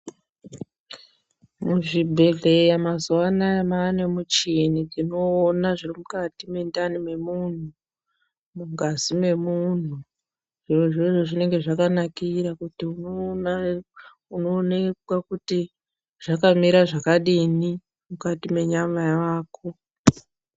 Muzvibhedhlera mazuvanaya mava nemichini inoona zvirimukati mwendani wemuntu mungazi memunhu zvirozvo zvinenga zvakanakira kuti unoonekwa kuti zvakamira zvakadini mukati mwenyama yako .